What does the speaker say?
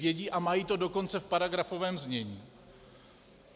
Vědí a mají to dokonce v paragrafovém znění.